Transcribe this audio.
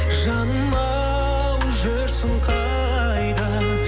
жанымау жүрсің қайда